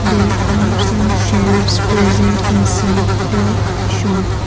there are some shelfs present inside the shop.